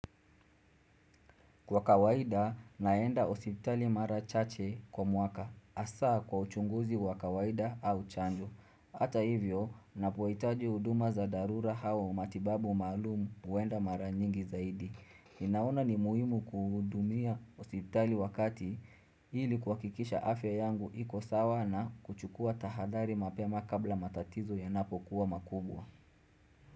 Kwa kawaida, naenda hospitali mara chache kwa mwaka, asaa kwa uchunguzi wa kawaida au chanjo. Hata hivyo, napowaitaji huduma za darura hawa umatibabu maalum kuenda mara nyingi zaidi. Ninaona ni muhimu kuhudumia osiptali wakati ili kuha kikisha afya yangu iko sawa na kuchukua tahadari mapema kabla matatizo yanapo kuwa makubwa.